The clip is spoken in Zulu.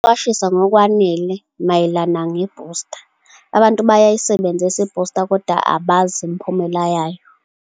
Ukuqwashisa ngokwanele mayelana ne-booster. Abantu bayayisebenzisa i-booster koda abazi imphumela yayo.